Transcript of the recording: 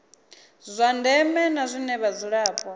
zwa ndeme na zwine vhadzulapo